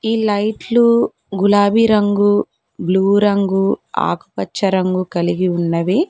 ఈ లైట్లు గులాబీ రంగు బ్లూ రంగు ఆకుపచ్చ రంగు కలిగి ఉన్నవి.